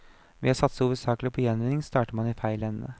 Ved å satse hovedsakelig på gjenvinning starter man i feil ende.